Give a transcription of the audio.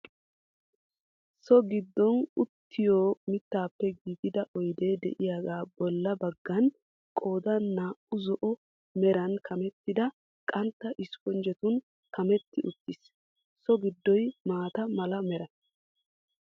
So giddon uttiyo mittaappe giigida oydee de'iyaga bolla baggan qoodaan naa"u zo"o meran kammettida qantta espponjjetun kametti uttiis. So gddoy maata mala mera.